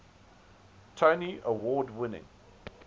tony award winning